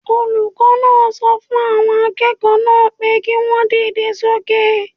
Olùkọ́ náà sọ fún àwọn akẹ́kọ̀ọ́ náà pé kí wọ́n dìde sókè